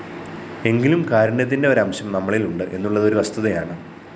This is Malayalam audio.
എങ്കിലും കാരുണ്യത്തിന്റെ ഒരംശം നമ്മളില്‍ ഉണ്ട് എന്നുള്ളത് ഒരു വസ്തുതയാണ്